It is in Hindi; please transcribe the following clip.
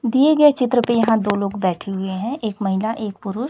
दिए गए चित्र पे यहां दो लोग बैठे हुए हैं एक महीला एक पूरुष--